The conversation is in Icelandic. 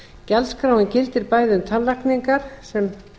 gjaldskráin gildir bæði um tannlækningar sem